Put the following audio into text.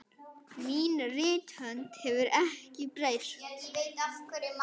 Mín rithönd hefur ekki breyst.